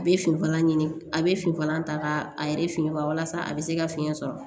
A bɛ finfala ɲini a bɛ finfala ta k'a yɛrɛ finya walasa a bɛ se ka fiɲɛ sɔrɔ